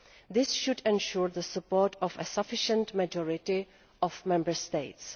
This should ensure the support of a sufficient majority of Member States.